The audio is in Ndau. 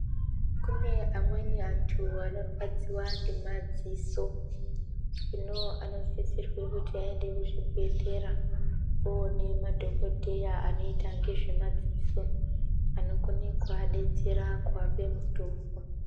Kune amweni antu anorwadziwa ngemadziso. Zvino, anosisirwa kuti aende kuzvibhedhlera oone madhokodheya anoita ngezvemadziso anokona kuvadetsera kuvape mitombo.